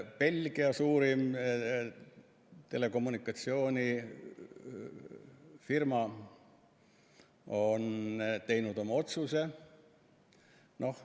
Belgia suurim telekommunikatsioonifirma on teinud oma otsuse.